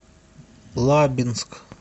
лабинск